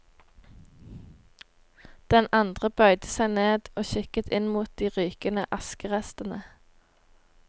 Den andre bøyde seg ned og kikket inn mot de rykende askerestene.